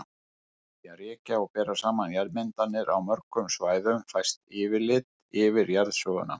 Með því að rekja og bera saman jarðmyndanir á mörgum svæðum fæst yfirlit yfir jarðsöguna.